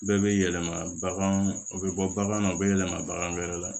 Bɛɛ bɛ yɛlɛma bagan o bɛ bɔ bagan na o bɛ yɛlɛma bagan wɛrɛ la